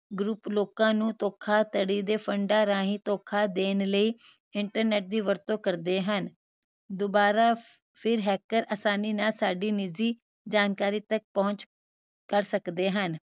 group ਧੋਖਾਧੜੀ ਦੇ ਫੰਡਾ ਰਾਹੀਂ ਧੋਖਾ ਦੇਣ ਲਈ internet ਦੀ ਵਰਤੋਂ ਕਰਦੇ ਹਨ ਦੋਬਾਰਾ ਫਿਰ hacker ਆਸਾਨੀ ਨਾਲ ਸਾਡੀ ਨਿਜ਼ੀ ਜਾਣਕਾਰੀ ਤਕ ਪਹੁੰਚ ਕਰ ਸਕਦੇ ਹਨ